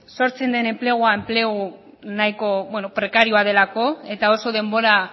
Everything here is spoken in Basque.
sortzen den enplegua enplegu nahiko bueno prekarioa delako eta oso denbora